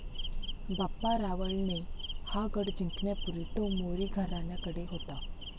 बाप्पा रावळ ने हा गढ जिंकण्यापूर्वी तो मोरी घरण्याकडे होता.